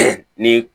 Ni